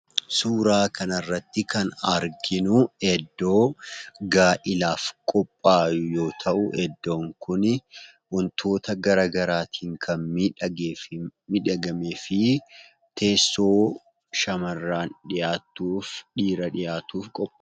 Suuraa kanarratti kan arginuu, iddoo gaa'elaaf qophaa'e yoo ta'uu iddoon kun wantoota garaagaraatiin kan miidhagamee fi teessoo shamarran dhiyaattuuf dhiira dhiyaatuuf qophaa'edha.